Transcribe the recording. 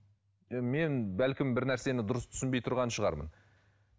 мен бәлкім бір нәрсені дұрыс түсінбей тұрған шығармын